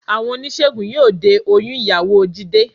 Àwọn oníṣègùn yóò de oyún ìyàwó Jídé